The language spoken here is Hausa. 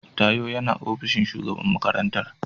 Tayo yana ofishin shugaban makarantar.